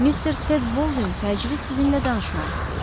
Mister Ted Boldin təcili sizinlə danışmaq istəyir.